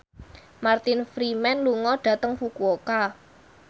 Martin Freeman lunga dhateng Fukuoka